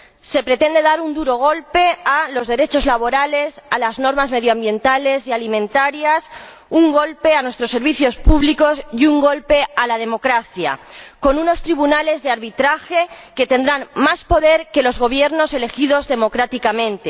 Se pretende dar un duro golpe a los derechos laborales, a las normas medioambientales y alimentarias, un golpe a nuestros servicios públicos y un golpe a la democracia, con unos tribunales de arbitraje que tendrán más poder que los gobiernos elegidos democráticamente.